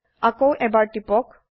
আকৌ এবাৰ টিপক